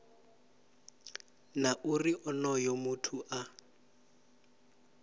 na uri onoyo muthu a